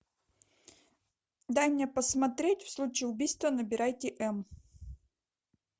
дай мне посмотреть в случае убийства набирайте м